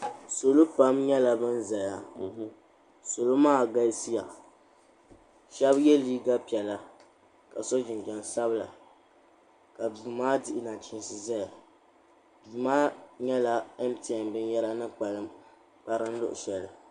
Salo pam nyɛla ban zaya salo maa galisiya Sheba ye liiga piɛlla ka so jinjiɛm sabla ka duu maa dihi nachinsi zaya duu maa niŋla mtn binyera ni kparim luɣushɛli.